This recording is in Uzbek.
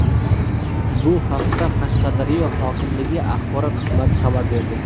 Bu haqda Qashqadaryo hokimligi axborot xizmati xabar berdi.